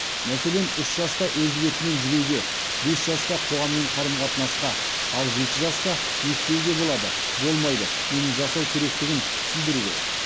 мәселен үш жаста өз бетімен жүруге бес жаста қоғаммен қарым қатынасқа ал жеті жаста не істеуге болады болмайды нені жасау керектігін түсіндіру керек